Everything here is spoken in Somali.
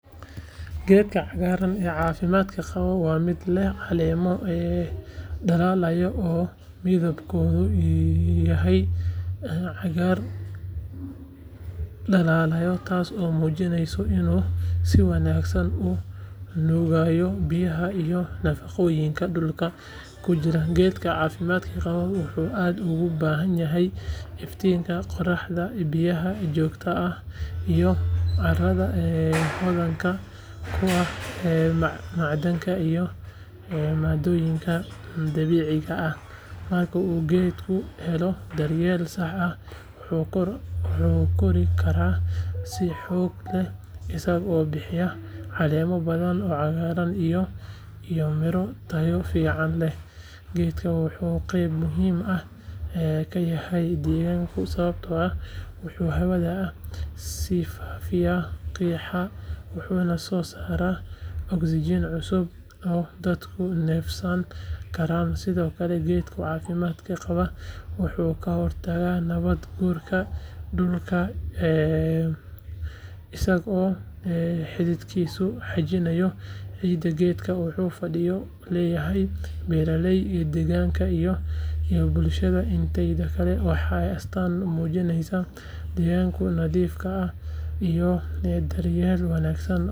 Geedka cagaaran ee caafimaadka qaba waa mid leh caleemo dhalaalaya oo midabkoodu yahay cagaar dhalaalaya taasoo muujinaysa inuu si wanaagsan u nuugayo biyaha iyo nafaqooyinka dhulka ku jira geedka caafimaadka qaba wuxuu aad ugu baahan yahay iftiinka qoraxda, biyaha joogtada ah iyo carrada hodanka ku ah macdanta iyo maadooyinka dabiiciga ah marka uu geedku helo daryeel sax ah wuxuu kori karaa si xoog leh isagoo bixiya caleemo badan oo cagaaran iyo midho tayo fiican leh geedkan wuxuu qayb muhiim ah ka yahay deegaanka sababtoo ah wuxuu hawada ka sifaynayaa qiiqa wuxuuna soo saaraa oksijiin cusub oo dadku neefsan karaan sidoo kale geedka caafimaadka qaba wuxuu ka hortagaa nabaad guurka dhulka isagoo xididkiisu xajinayo ciidda geedkan wuxuu faa’iido u leeyahay beeraleyda, deegaanka iyo bulshada inteeda kale waana astaan muujinaysa deegaanka nadiifta ah iyo daryeelka wanaagsan ee la siiyo dhirta.